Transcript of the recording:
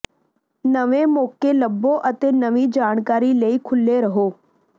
ਨਵੇਂ ਮੌਕੇ ਲੱਭੋ ਅਤੇ ਨਵੀਂ ਜਾਣਕਾਰੀ ਲਈ ਖੁੱਲੇ ਰਹੋ